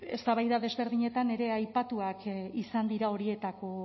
eztabaida desberdinetan ere aipatuak izan dira horietako